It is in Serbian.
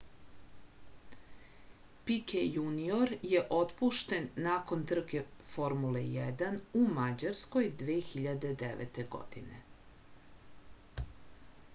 pike junior je otpušten nakon trke formule 1 u mađarskoj 2009. godine